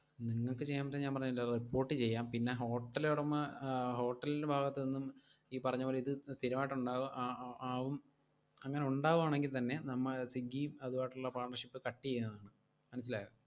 നിങ്ങക്ക് ചെയ്യാൻ പറ്റുക ഞാൻ പറഞ്ഞില്ലേ, അത് report ചെയ്യാം, പിന്നെ hotel ഉടമ ആ hotel ന്റെ ഭാഗത്തുനിന്നും ഈ പറഞ്ഞപോലെ ഇത് സ്ഥിരമായിട്ട് ഉണ്ടാവും ആ~ആ~ ആവും അങ്ങനെ ഉണ്ടാവുകയാണെങ്കിൽത്തന്നെ നമ്മൾ സ്വിഗ്ഗിയും അതുമായിട്ടുള്ള partnership cut ചെയ്യുന്നതാണ്.